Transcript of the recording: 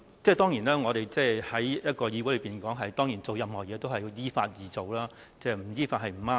當然，我們在議會內做任何事，都要依法而行，不依法是不對的。